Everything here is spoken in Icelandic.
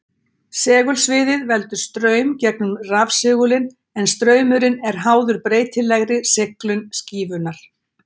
segulsviðið veldur straum gegnum rafsegulinn en straumurinn er háður breytilegri seglun skífunnar